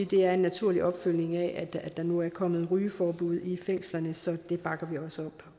det er en naturlig opfølgning af at der nu er kommet rygeforbud i fængslerne så det bakker vi også